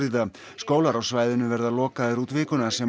skólar á svæðinu verða lokaðir út vikuna sem